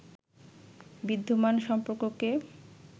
বিদ্যমান সম্পর্ককে